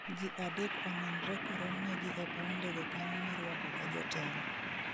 Ji adek onenre koromnegi e pau ndege kanyo miruakoga jotelo